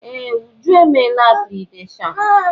Ee! Uju emeela akréditeshọọn.